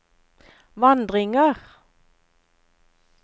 vandringer